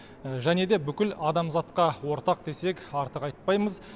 және де бүкіл адамзатқа ортақ десек артық айтпаймыз